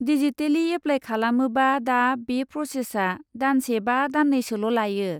Digitally apply खालामोबा दा बे प्र'सेसआ दानसे बा दान्नैसोल' लायो।